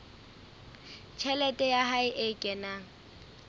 tjhelete ya hae e kenang